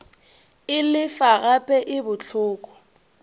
e lefa gape e bohloko